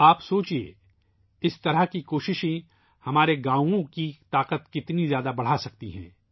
آپ سوچیئے ، اس طرح کی کوششیں ہمارے دیہات کی طاقت کو کتنا بڑھا سکتی ہیں